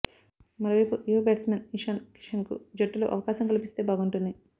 మరోవైపు యువ బ్యాట్స్మన్ ఇషాన్ కిషన్కు జట్టులో అవకాశం కల్పిస్తే బాగుంటుంది